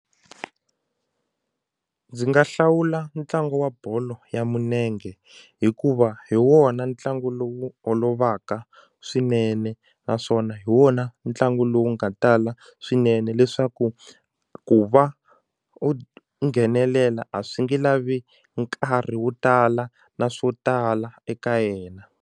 Ndzi nga hlawula ntlangu wa bolo ya munenge hikuva hi wona ntlangu lowu olovaka swinene naswona hi wona ntlangu lowu nga tala swinene leswaku ku va u nghenelela a swi nge lavi nkarhi wo tala na swo tala eka yena.